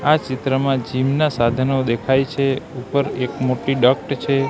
આ ચિત્રમાં જીમ ના સાધનો દેખાય છે ઉપર એક મોટી ડક્ટ છે.